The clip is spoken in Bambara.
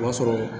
O b'a sɔrɔ